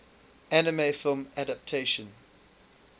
anime film adaptation